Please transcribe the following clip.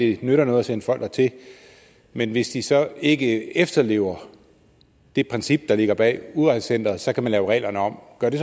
det nytter noget at sende folk dertil men hvis de så ikke efterlever det princip der ligger bag udrejsecenteret så kan man lave reglerne om gør det